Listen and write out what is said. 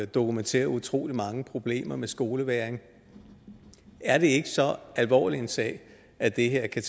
dokumenteret utrolig mange problemer med skolevægring er det ikke så alvorlig en sag at det her kan